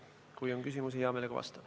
Kui on küsimusi, hea meelega vastan.